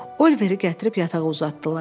Oliveri gətirib yatağa uzatdılar.